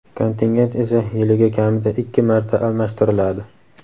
kontingent esa yiliga kamida ikki marta almashtiriladi.